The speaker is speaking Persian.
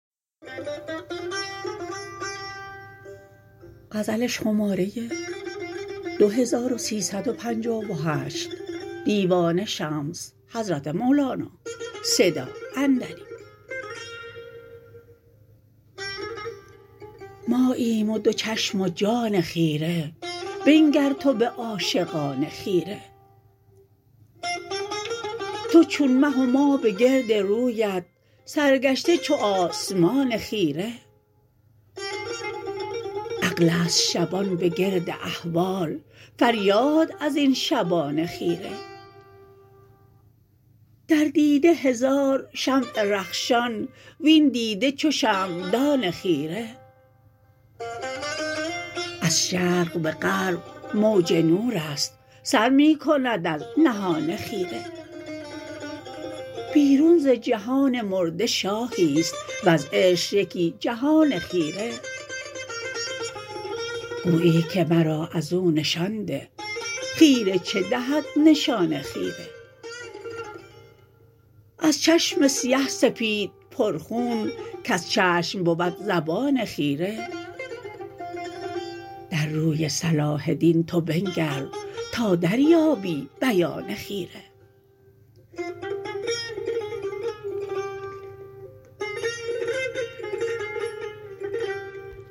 ماییم و دو چشم و جان خیره بنگر تو به عاشقان خیره تو چون مه و ما به گرد رویت سرگشته چو آسمان خیره عقل است شبان به گرد احوال فریاد از این شبان خیره در دیده هزار شمع رخشان وین دیده چو شمعدان خیره از شرق به غرب موج نور است سر می کند از نهان خیره بیرون ز جهان مرده شاهی است وز عشق یکی جهان خیره گویی که مرا از او نشان ده خیره چه دهد نشان خیره از چشم سیه سپید پرخون کز چشم بود زبان خیره در روی صلاح دین تو بنگر تا دریابی بیان خیره